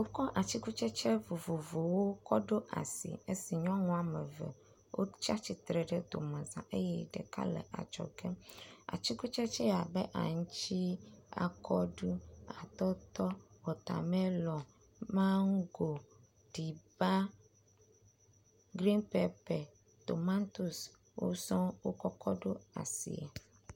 Wokɔ atikutsetse vovovowo kɔ ɖo asie esi nyɔnu wɔme eve wotsi atsitre ɖe domeza eye ɖeka le adzɔge. Atikutsetse abe; aŋtsi, akɔɖu, atɔtɔ, watamelɔn, mango, riba, grin pepe. Tomatosi wo sɔ wokɔ ɖo asie.